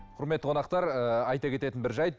құрметті қонақтар ыыы айта кететін бір жайт